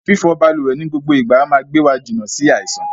Fífọ balùwẹ̀ ni gbogbo ìgbà máa gbé wa jìnà sí àìsàn.